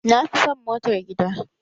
Na fi san motar gida.